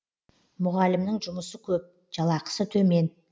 мұғалімнің жұмысы көп жалақысы төмен